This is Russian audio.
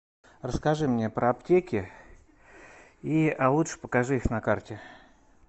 расскажи мне про аптеки а лучше покажи их на карте